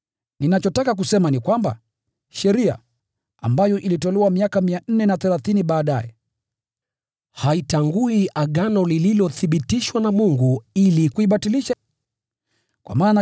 Ninachotaka kusema ni kwamba, sheria, ambayo ilitolewa miaka 430 baadaye, haitangui Agano lililothibitishwa na Mungu ili kuibatilisha ahadi ile.